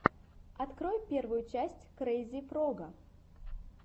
открой первую часть крейзи фрога